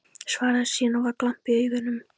Svaraði síðan, og var glampi í augunum